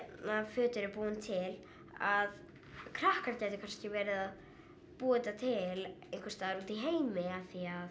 föt eru búin til að krakkar gætu kannski verið að búa þetta til einhvers staðar úti í heimi af því að